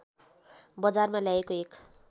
बजारमा ल्याएको एक